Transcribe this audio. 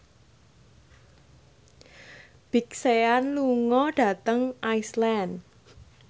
Big Sean lunga dhateng Iceland